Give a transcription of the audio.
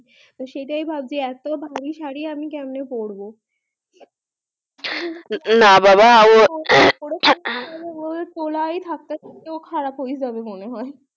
সেটা ভাবছি এত ভারী সারি আমি ক্যামনে পড়বো না বাবা তোলা থাকতে থাকতে খারাপ হয়ে যাবে